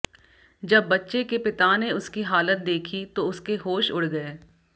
जब बच्चे के पिता ने उसकी हालत देखी तो उसके होश उड़ गए